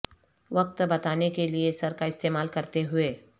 وقت بتانے کے لئے سر کا استعمال کرتے ہوئے